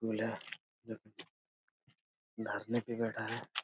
धरने पे बैठा है।